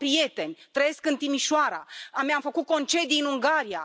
Eu am prieteni, trăiesc în Timișoara, mi am făcut concedii în Ungaria.